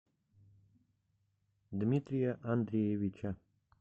дмитрия андреевича